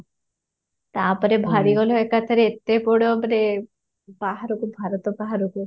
ତାପରେ ବାହାରି ଗଲ ଏକାଥରେ ଏତେ ବଡ଼ ମାନେ ବାହାରକୁ ଭାରତ ବାହାରକୁ